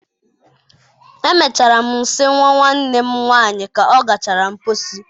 Emechara m nsi nwa nwanne m nwanyị ka ọ gachara mposi.